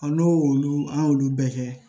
n'o y' olu an y'olu bɛɛ kɛ